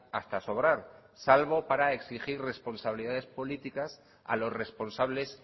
hasta sobrar salvo para exigir las responsabilidades políticas a los responsables